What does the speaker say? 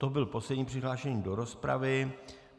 To byl poslední přihlášený do rozpravy.